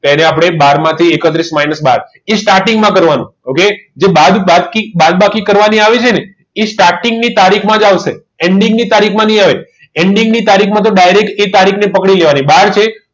એને આપણને બહારથી એકત્રીસ મીમાઇનસ બાર થી starting માં કરવાનું okay જો બાદબાકી કરવાની આવી છે ને એ starting ની તારીખમાંથી ચાલશે ending ની તારીખ માં નહીં આવે એનડીની તારીખમાં તો ડાયરેક્ટ એ તારીખ ને પકડી લેવાની બહારથી